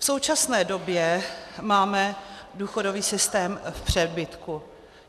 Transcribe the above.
V současné době máme důchodový systém v přebytku.